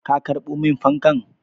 Ka karɓo min fankan?